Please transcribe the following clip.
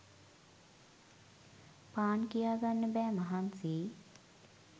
පාන් කියා ගන්න බෑ මහන්සි